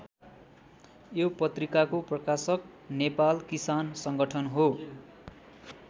यो पत्रिकाको प्रकाशक नेपाल किसान सङ्गठन हो।